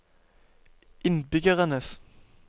innbyggernes